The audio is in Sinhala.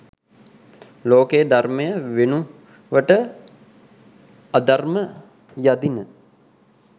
ලෝකයේ ධර්මය වෙනුවට අධර්ම යදින